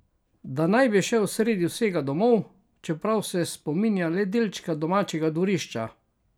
Da naj bi šel sredi vsega domov, čeprav se spominja le delčka domačega dvorišča?